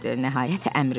Nəhayət, əmr verildi.